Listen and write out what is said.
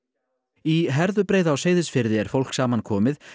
í Herðubreið á Seyðisfirði er fólk saman komið